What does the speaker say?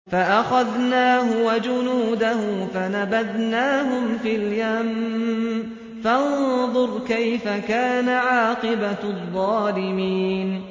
فَأَخَذْنَاهُ وَجُنُودَهُ فَنَبَذْنَاهُمْ فِي الْيَمِّ ۖ فَانظُرْ كَيْفَ كَانَ عَاقِبَةُ الظَّالِمِينَ